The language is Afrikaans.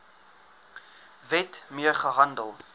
wet mee gehandel